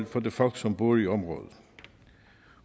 for de folk som bor i området